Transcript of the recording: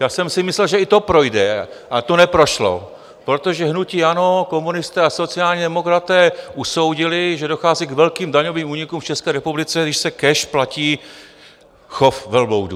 Já jsem si myslel, že i to projde, ale to neprošlo, protože hnutí ANO, komunisté a sociální demokraté usoudili, že dochází k velkým daňovým únikům v České republice, když se cash platí chov velbloudů.